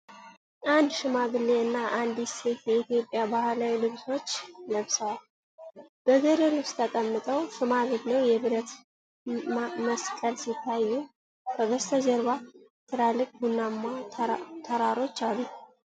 አንድ ሽማግሌ እና አንዲት ሴት የኢትዮጵያን ባህላዊ ልብሶች ለብሰው፣ በገደል ውስጥ ተቀምጠዋል። ሽማግሌው በብረት መስቀል ሲታዩ፣ ከበስተጀርባ ትላልቅ ቡናማ ተራሮች አሉ።